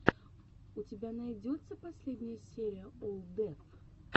у тебя найдется последняя серия олл деф